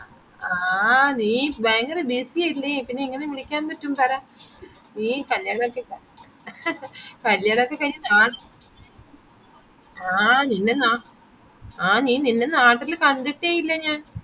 ആ നീ ഭയങ്കര busy ലെ പിന്നെ എങ്ങനെ വിളിക്കാൻ പറ്റും പറ നീ കല്യണോകെ കല്യണോകെകയിഞ്ഞു അഹ് ആഹ് നിന്നെ നാ അഹ് നിന്നെ നാട്ടിൽ കണ്ടിട്ടേ ഇല്ല ഞാൻ